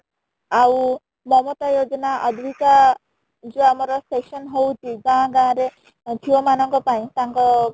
ଆଉ ଅବିକା ଯୋଉ ଆମର session ହଉଚି ଗାଁ ଗାଁ ରେ ଝିଅ ମାନଙ୍କ ପାଇଁ ତାଙ୍କ